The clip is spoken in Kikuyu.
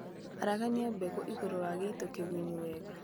Aragania mbegũ igũrũ wa gĩito kĩgunyu wega